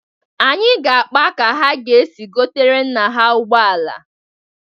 Anyị ga-akpa ka ha ga-esi gotere nna ha ụgbọala.